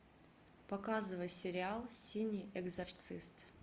показывай сериал синий экзорцист